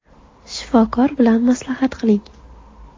Shifokor bilan maslahat qiling”.